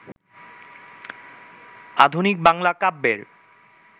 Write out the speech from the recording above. আধুনিক বাংলা কাব্যের